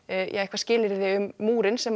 eitthvað skilyrði um múrinn sem